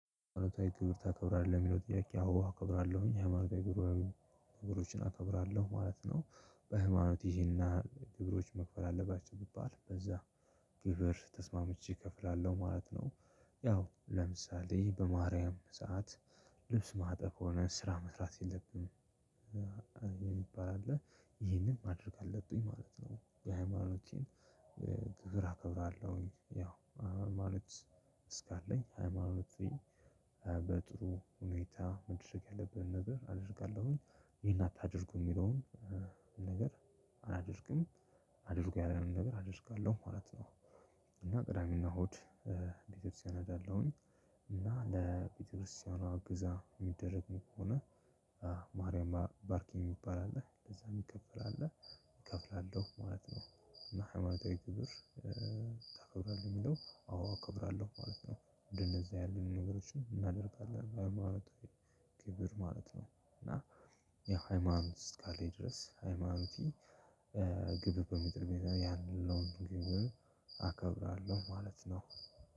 ሃይማኖታዊ ትምህርት ታከብራለህ? የሚለው ጥያቄ አዎ አከብራለሁኝ። ሐማኖታዊ ጉባዬ ነገሮችን አከብራለሁ ማለት ነው። በሐማኖቴ ይሄና ክብሮች መከበር አለባቸው ገብቶሐል እንደዛ ነው። ግብር ተስማምቼ እከፍላለሁ ማለት ነው። ያው ለምሳሌ በማርያም ሰዓት ልብስ ማጠብም ሆነ ስራ መስራት የለብንም የሚባል አለ ይሄንን ማድረግ አለብኝ ማለት ነው የሃይማኖቴን ክብር አከብራለሁኝ። ያው ሃይማኖት ስላለኝ ሃይማኖቴን በጥሩ ሁኔታ ማድረግ ከተፈለገ አደርጋለሁኝ። ይሄን አታድርጉ የሚለውን ነገር አላደርግም አድርጉ ያለንን ነገር አደርጋለሁ ማለት ነው። እና ቅዳሜና እሁድ ቤተክርስቲያን እሄዳለሁኝ። እና ለቤተክርስቲያኗ ዕገዛ የሚደረግ ከሆነ ማርያም ባርኪኝ የሚባል አለ ለዛ የሚከፈል አለ። እከፍላለሁ ማለት ነው። እና ሃይማኖታዊ ግብር ታከብራለህ ለሚለው አዎ እከብራለሁ ማለት ነው። እንደነዚህ ያሉ ነገሮችን እናደርጋለን ለሃይማኖታችን ክብር ማለት ነው። እና ያው ሃይማኖት እስካለኝ ድረስ ሃይማኖት ግብር በሚጥልበት ያለውን ሁኔታ ቢሆን አከብራለሁ ማለት ነው።